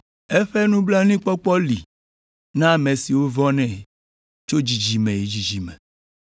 Eƒe nublanuikpɔkpɔ li na ame siwo vɔ̃nɛ tso dzidzime yi dzidzime.